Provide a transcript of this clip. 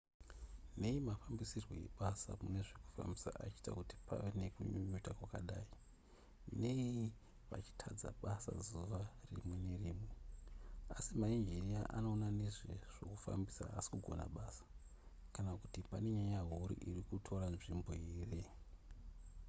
nei mafambisirwo ebasa mune zvekufambisa achiita kuti pave nekunyunyuta kwakadai nei vachitadza basa zuva rimwe nerimwe asi mainjiniya anoona nezve zvokufambisa haasi kugona basa kana kuti pane nyaya huru iri kutora nzvimbo here